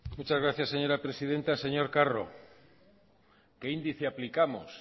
muchas gracias señora presidenta señor carro qué índice aplicamos